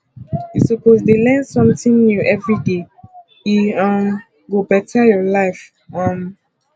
you suppose dey learn something new everyday e um go beta your life um